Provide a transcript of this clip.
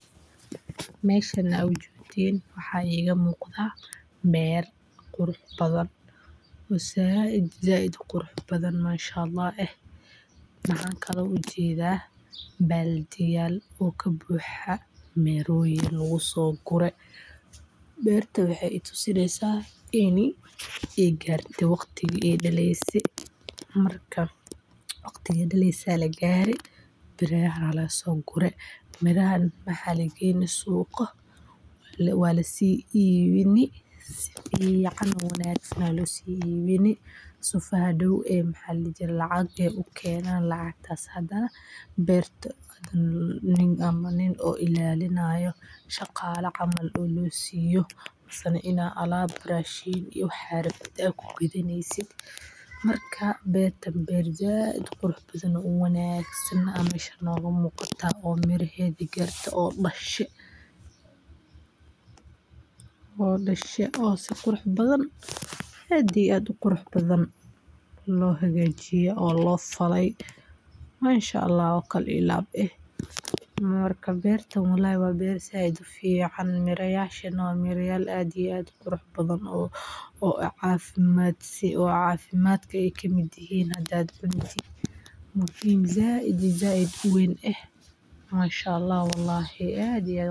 Meeshan waxaa iiga muuqda beer qurux badan oo sait uqurux badan waxaan ujeeda baldiya miroyin lagu soo gure waxaa lagaare waqtiga aay dakeyse waxaa lageyni suuqa waa lasii iibini si aay lacag ukeenan nin ilaalinayo lasiiyo mise rashin lagu gato beer dashe oo qurux badan ayaan ujeedna waa beer aad ufican waa mirayaal cafimaad leh oo muhiim sait iyo sait ah.